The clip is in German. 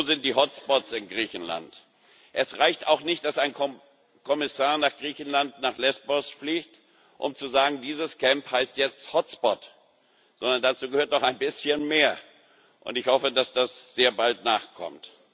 Wo sind die Hotspots in Griechenland? Es reicht auch nicht, dass ein Kommissar nach Griechenland, nach Lesbos fliegt, um zu sagen, dieses Camp heißt jetzt Hotspot, sondern dazu gehört auch ein bisschen mehr. Ich hoffe, dass das sehr bald nachkommt.